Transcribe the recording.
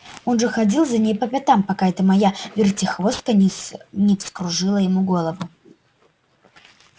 он же ходил за ней по пятам пока эта моя вертихвостка не вскружила ему голову